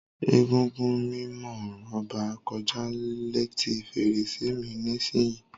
Egúngún mimo Oba koja leti ferese mi nisiyi.